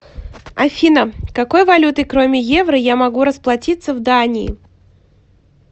афина какой валютой кроме евро я могу расплатиться в дании